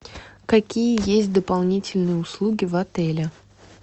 какие есть дополнительные услуги в отеле